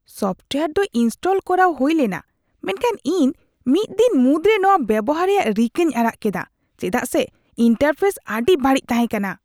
Software ᱫᱚ install ᱠᱚᱨᱟᱣ ᱦᱩᱭ ᱞᱮᱱᱟ ᱢᱮᱱᱠᱷᱟᱱ ᱤᱧ ᱢᱤᱫ ᱫᱤᱱ ᱢᱩᱫᱨᱮ ᱱᱚᱶᱟ ᱵᱮᱣᱦᱟᱨ ᱨᱮᱭᱟᱜ ᱨᱤᱠᱟᱹᱧ ᱟᱲᱟᱜ ᱠᱮᱫᱟ ᱪᱮᱫᱟᱜ ᱥᱮ ᱤᱱᱴᱟᱨᱯᱷᱮᱥ ᱟᱹᱰᱤ ᱵᱟᱹᱲᱤᱡ ᱛᱟᱦᱮᱸ ᱠᱟᱱᱟ ᱾